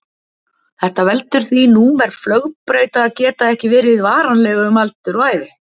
Þetta veldur því númer flugbrauta geta ekki verið varanleg um aldur og ævi.